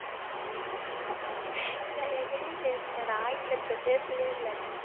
நான் எங்கடி பேசனேன் நான் ஆங்கிலத்துல பேசவே இல்ல